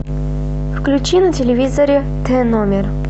включи на телевизоре т номер